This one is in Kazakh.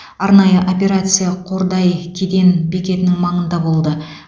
арнайы операция қордай кеден бекетінің маңында болды